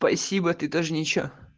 спасибо ты тоже ничего